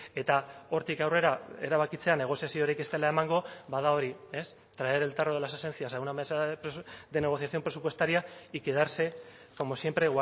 eta hortik aurrera erabakitzea negoziaziorik ez dela emango ba da hori ez traer el tarro de las esencias a una mesa de negociación presupuestaria y quedarse como siempre